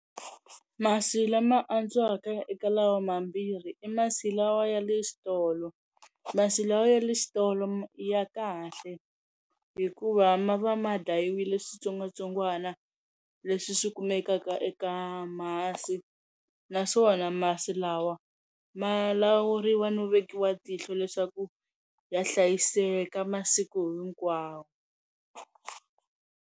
Masi lama antswaka ya eka laha mambirhi i masi lawa ya le xitolo, masi lawa ya le xitolo ya kahle hikuva ma va ma dlayiwile switsongwatsongwana leswi swi kumekaka eka masi naswona masi lawa ma lawuriwa no vekiwa tihlo leswaku ya hlayiseka masiku hinkwawo.